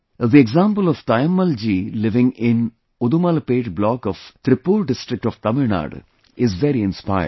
The example of Taimmal ji living in Udumalpet block of Trippur district of Tamil Nadu is very inspiring